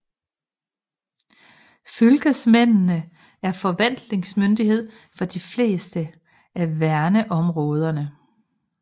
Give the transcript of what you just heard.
Fylkesmændene er forvaltningsmyndighed for de fleste af verneområdene